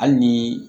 Hali ni